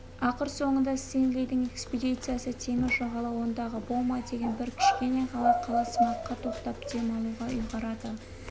ақыр соңында стенлидің экспедициясы теңіз жағалауындағы бома деген бір кішкене ғана қаласымаққа тоқтап дем алуға ұйғарады